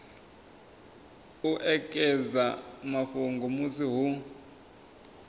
u ekedza mafhungo musi hu